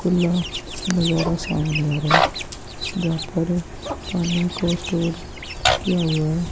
खुला नजारा सामने आ रहा है जहाँ पर पानी को स्टोर किया हुआ है।